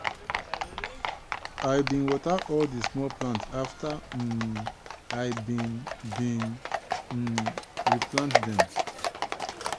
i bin water all di small plant afta um i bin bin um replant dem.